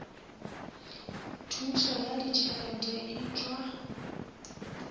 thušo ya ditšhelete e tšwa